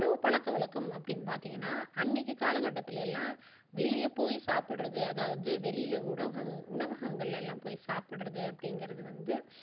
பழக்க வழக்கம் அப்படின்னு பார்த்தீங்கனா அன்னைக்கு காலகட்டத்துல எல்லாம் வெளிய போய் சாப்பிடுறது அதாவது வெளியில உண்வக~உணவங்களில எல்லாம் போய் சாப்பிடுறது அப்படிங்குறது வந்து